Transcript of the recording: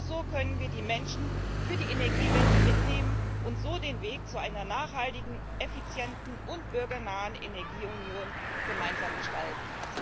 Nur so können wir die Menschen für die Energiewende mitnehmen und so den Weg zu einer nachhaltigen, effizienten und bürgernahen Energieunion gemeinsam gestalten.